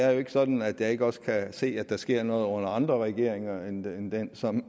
er jo ikke sådan at jeg ikke også kan se at der sker noget under andre regeringer end under den som